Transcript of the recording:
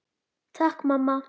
Takk mamma!